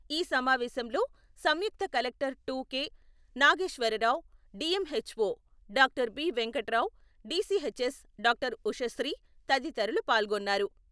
ఈ సమావేశంలో సంయుక్త collector to కే.నాగేశ్వరరావు, డిఎంఎచ్ఓ డా.బి.వెంకటరావు, డిసిఎచ్ఎస్ డా.ఉషశ్రీ, తదితరులు పాల్గొన్నారు.